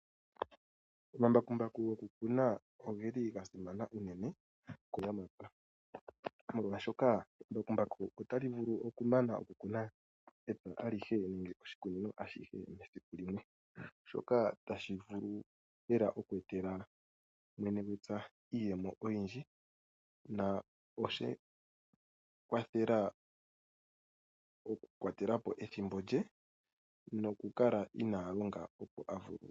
Omambakumbaku gokukuna oga simana unene muunamapya, oshoka embakumbaku otali vulu okumana okukuna epya alihe nenge oshikunino ashike muule wesiku limwe, shoka hashi vulu lela oku etela mwene gwepya iiyemo oyindji na oshe mu kwathela okukwatela po ethimbo lye noku mu kwathela okukala inaa longa ye a vulwe.